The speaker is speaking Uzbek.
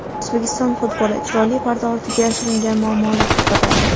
O‘zbekiston futboli: chiroyli parda ortiga yashiringan muammolar haqida.